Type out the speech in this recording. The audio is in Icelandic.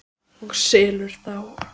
Og selur þá.